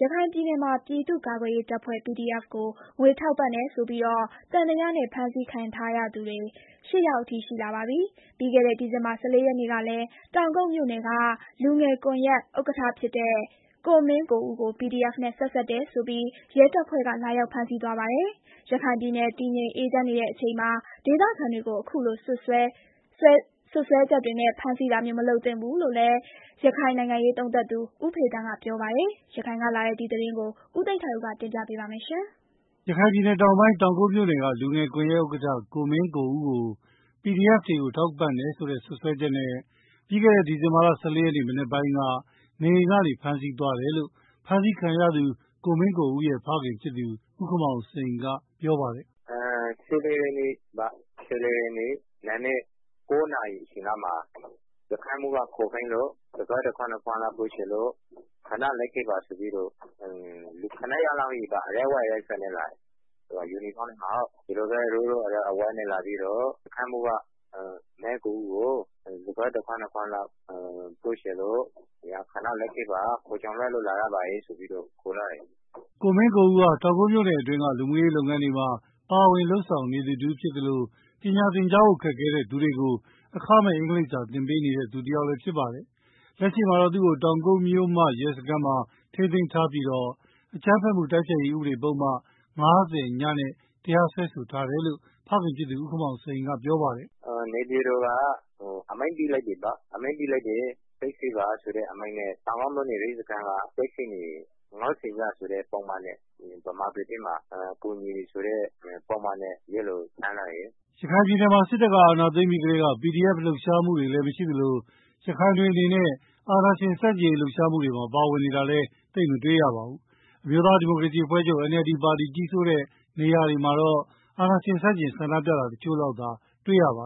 ရခိုင်ပြည်နယ်မှာပြည်သူ့ကာကွယ်ရေးတပ်ဖွဲ့ (PDF) ကို ငွေထောက်ပံ့တယ်ဆိုပြီး သံသယနဲ့ ဖမ်းဆီးခံရသူ ၈ ယောက်အထိ ရှိလာပါပြီ။ ပြီးခဲ့တဲ့ ဒီဇင်လာ ၁၄ ရက်နေ့ကလည်း တောင်ကုတ်မြို့နယ်က လူငယ်ကွန်ယက် ဥက္ကဋ္ဌ ကိုမင်းကိုဦးကို PDF နဲ့ ဆက်စပ်တယ်ဆိုပြီး ရဲတပ်ဖွဲ့က လာရောက် ဖမ်းဆီးသွားပါတယ်။ ရခိုင်ပြည်နယ်တည်ငြိမ်အေးချမ်းနေချိန်မှာ ဒေသခံတွေကို အခုလို စွပ်စွဲချက်တွေနဲ့ ဖမ်းဆီးတာမျိုး မလုပ်သင့်ဘူးလို့ ရခိုင်နိုင်ငံရေးသုံးသပ်သူ ဦးဖေသန်းက ပြောပါတယ်။ ဒီအကြောင်းအပြည့်အစုံ ရန်ကုန်ကလာတဲ့ သတင်းကို ကိုသိန်းထိုက်ဦးက တင်ပြထားပါတယ်။ ရခိုင်ပြည်နယ် တောင်ပိုင်း၊ တောင်ကုတ်မြို့နယ်က လူငယ်ကွန်ယက်ဥက္ကဋ္ဌ ကိုမင်းကိုဦးကို PDF တွေကို ငွေထောက်ပံ့တယ်ဆိုတဲ့ စွပ်စွဲချက်နဲ့ ပြီးခဲ့တဲ့ ဒီဇင်ဘာလ ၁၄ ရက်နေ့ မနက်ပိုင်းက နေအိမ်ကနေ ဖမ်းဆီးသွားတယ်လို့ ဖမ်းဆီးခံရသူ ကိုမင်းကို ဦးရဲ့ ဖခင်ဖြစ်သူ ဦးခင်မောင်စိန်က ပြောပါတယ်။ “၁၄ ရက်နေ့ နံနက် ၉ နာရီလောက်မှာ စခန်းမှူးက ခေါ်ခိုင်းလို့ စကားတခွန်း နှစ်ခွန်းလောက် ပြောချင်လို့ပါ၊ ခဏလိုက်ခဲ့ပါဆိုပြီးတော့ လူ ၇ ယောက်လောက်က အရပ်ဝတ် အဝတ် အစားတွေနဲ့ လာပြီးတော့ ကိုမင်းကိုဦးကို စခန်းမှူး ခေါ်ခိုင်းလိုက်တာကြောင့် ခဏလိုက်ခဲ့ပါဆိုပြီးတော့ ခေါ်သွားတာ။” ကိုမင်းကိုဦးဟာ တောင်ကုတ်မြို့နယ်အတွင်းက လူမှုရေးလုပ်တွေမှာလည်း ပါဝင် လုပ်ဆောင်နေသူဖြစ်သလို ပညာသင်ကြားဖို့ ခက်ခဲသူတွေကို အင်္ဂလိပ်စာ အခမဲ့သင်ပေးနေသူလည်း ဖြစ်ပါတယ်။ လက်ရှိမှာတော့ သူ့ကို တောင်ကုတ်မြို့မ ရဲစခန်းမှာ ထိန်းသိမ်းထားပြီး အကြမ်းဖက်တိုက် ဖျက်ရေး ဥပဒေပုဒ်မ ၅၀ (ည) နဲ့ တရားစွဲ ဆိုထားတယ်လို့လည်း အဖေဖြစ်သူ ဦးခင်မောင်စိန်က ပြောပါတယ်။ “နေပြည်တော်က စစ်ဆေးပါဆိုတဲ့ အမိန့်ပေးလိုက်တာကြောင့် တောင်ကုတ်မြို့နယ် ရဲစခန်းမှာ စစ်ဆေးနေတယ်။ ၅၀ (ည) ဆိုတဲ့ ပုဒ်မနဲ့ ဗမာပြည်ထဲမှာ ကူညီတယ်ဆိုတဲ့ ပုဒ်မ နဲ့ ဖမ်းဆီးထားတာဖြစ်တယ်။” ရခိုင်ပြည်နယ် စစ်တပ်က အာဏာသိမ်းပြီးကတည်းက PDF လှုပ်ရှားမှုတွေလည်း မရှိသလို ရခိုင် တွေအနေနဲ့ အာဏာရှင်ဆန့်ကျင် လှုပ်ရှားမှုတွေမှာ ပါဝင်တာလည်း သိပ်မတွေ့ရပါဘူး။ အမျိုးသားဒီမိုကရေစီအဖွဲ့ချုပ် NLD ပါတီ ကြီးစိုးတဲ့ နေရာတွေမှာတော့ အာဏာရှင်ဆန့်ကျင် ဆန္ဒပြတာ တစ်ချို့လောက်သာတွေ့ရတာပါ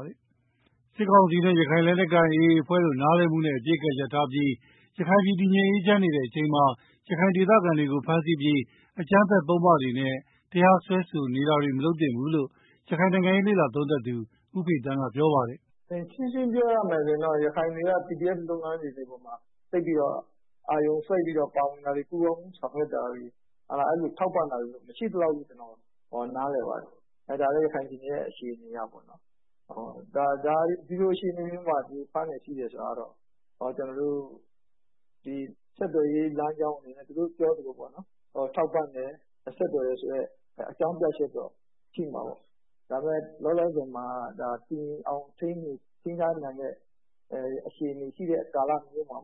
။ စစ်ကောင်စီနဲ့ ရခိုင်လက်နက်ကိုင် AA အဖွဲ့တို့ နားလည်မှုနဲ့ အပစ်ရပ်ထားပြီး ရခိုင်ပြည် တည်ငြိမ်အေးချမ်းနေတဲ့ အချိန်မှာ ရခိုင်ဒေသခံတွေကို ဖမ်းဆီးပြီး အကြမ်းဖက်ပုဒ်မတွေနဲ့ တရားစွဲဆို နေတာတွေမလုပ်သင့်ဘူးလို့ ရခိုင်နိုင်ငံရေး လေ့လာသုံးသပ်သူ ဦးဖေသန်းက ပြောပါတယ်။ “ရှင်းရှင်းပြောရရင်တော့ ရခိုင်တွေက PDF လုပ်ငန်းတွေမှာ ပါဝင်တာတွေ၊ ပူးပေါင်း ဆောင်ရွက် တာတွေ၊ အဲလိုထောက်ပံ့တာတွေတော့ မရှိသလောက်လို့ ကျနော်နား လည်ပါတယ်။ ဒါကလည်း ရခိုင်ပြည်နယ်ရဲ့ အခြေအနေအရပေါ့နော်။ ဒီလိုအခြေအနေမှာ ဖမ်းတယ် ဆီးတယ် ဆိုတာကတော့ သူတို့ပြောသလို ထောက်ပံ့တယ်၊ ဆက်သွယ်တယ်ဆိုတဲ့ အကြောင်းပြချက်တော့ ရှိမှာပေါ့။ တည်ငြိမ်အောင် ထိန်းထားနိုင်တဲ့ကာလမျိုးမှာ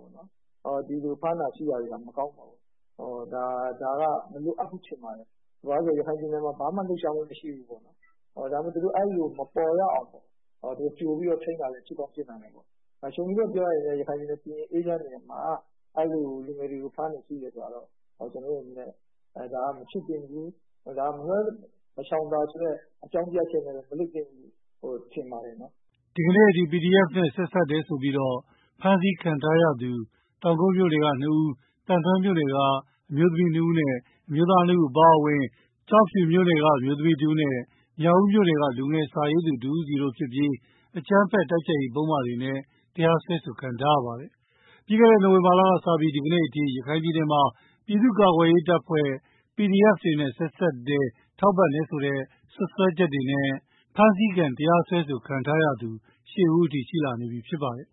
ဒီလိုဖမ်းတာဆီးတာတွေဟာ မကောင်းပါဘူး။ ဒါက မလိုအပ်ဘူးလို့ ထင်ပါတယ်။ ရခိုင်ပြည်နယ်မှာ ဘာမှ လှုပ်ရှားမှုမရှိဘူးပေါ့နော်။ အဲလို မပေါ်ရအောင်လည်း သူတို့ ကြိုပြီးတော့ ထိန်းတာလည်း ဖြစ်ကောင်း ဖြစ်နိုင်ပါတယ်။ ရခိုင်ပြည်နယ် တည်ငြိမ်နေတဲ့အချိန်မှာ အခုလို ရခိုင်လူငယ်တွေကို ဖမ်းတာဆီးတာက မဖြစ်သင့်ဘူး၊ မလွဲသာ မရှောင်သာဆိုတဲ့ အကြောင်းပြချက်မျိုးနဲ့လည်း မလုပ်သင့်ဘူးလို့ ထင်ပါတယ်နော်။” ဒီကနေ့အထိ PDF နဲ့ ဆက်စပ်တယ်ဆိုပြီးတော့ ဖမ်းဆီးခံထားရသူတောင်ကုတ်မြို့နယ်က နှစ်ဦး၊ သံတွဲမြို့နယ်က အမျိုးသမီးနှစ်ဦးနဲ့ အမျိုးသားနှစ်ဦးအပါအဝင် ကျောက်ဖြူမြို့နယ်က အမျိူးသမီးတဦးနဲ့ မြောက်ဦးမြို့နယ်က လူငယ်စာရေးသူ တဦးစီတို့ဖြစ်ပြီး အကြမ်းဖက် တိုက် ဖျက်ရေး ပုဒ်မတွေနဲ့ တရားစွဲဆိုခံထားရကြရတာပါ။ ပြီးခဲ့တဲ့ နိုင်ဝင်ဘာလကစပြီး ဒီကနေ့အထိ ရခိုင်ပြည်နယ်မှာပြည်သူ့ကာကွယ်ရေးတပ်ဖွဲ့PDF တွေနဲ့ ဆက်စပ်တယ်၊ ငွေထောက်ပံ့တယ်ဆိုတဲ့ စွပ်စွဲချက်တွေနဲ့ ဖမ်းဆီးခံ တရားစွဲဆိုခံထားရသူ (၈) ဦးအထိ ရှိလာနေပြီ ဖြစ်ပါတယ်